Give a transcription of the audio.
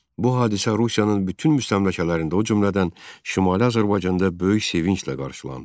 Bu hadisə Rusiyanın bütün müstəmləkələrində o cümlədən Şimali Azərbaycanda böyük sevinclə qarşılandı.